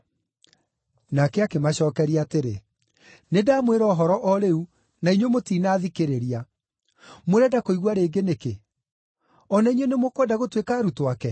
Nake akĩmacookeria atĩrĩ, “Nĩndamwĩra ũhoro o rĩu na inyuĩ mũtinathikĩrĩria. Mũrenda kũigua rĩngĩ nĩkĩ? O na inyuĩ nĩmũkwenda gũtuĩka arutwo ake?”